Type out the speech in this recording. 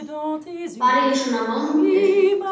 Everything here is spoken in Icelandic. Var ég svona vondur?